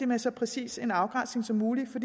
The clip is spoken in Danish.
med så præcis en afgrænsning som muligt for